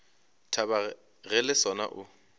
thaba ge le sona o